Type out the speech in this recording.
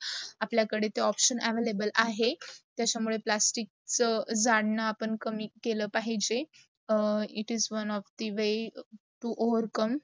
आपला कडे ते option available आहे. त्याचा मुडे प्लास्टिक च झाडणं आपण कमी केल पाहिजे. it is one of the very to overcome